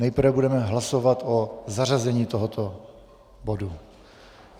Nejprve budeme hlasovat o zařazení tohoto bodu.